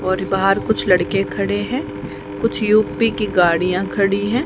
और बाहर कुछ लड़के खड़े हैं कुछ यू_पी की गाड़ियां खड़ी हैं।